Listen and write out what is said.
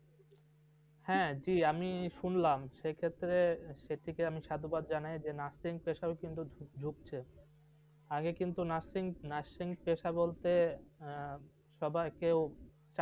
হ্যাঁ জি আমি সুনলাম সেক্ষেত্রে সেটিকে আমি সাধুবাদ জানায় যে nursing পেশায় অনেক ঢুকছে, আগে কিন্তু nurshing, nursing পেশা বলতে সবাই কেউ